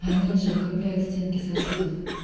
они же укрепляют стенки сосудов